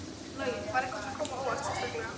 Logi: Var eitthvað sem kom á óvart sérstaklega?